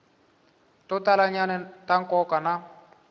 to talanyana ta nkoka na